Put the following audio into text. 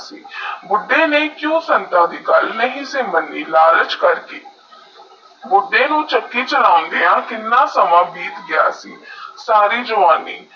ਬੁਢੇ ਨੇਈ ਸੰਤਾ ਦੀ ਕਿਊ ਗਾਲ ਨਹੀ ਸੀ ਮਨੀ ਲਾਲਚ ਕਰਕੇ ਬੁੱਦੇ ਨੂੰ ਚਕੀ ਚਲੋਂਦਿਆ ਕਿੰਨਾ ਸਮੇ ਬਿੱਟ ਗਿਆ ਸੀ ਸਾਰੀ ਜਵਾਨੀ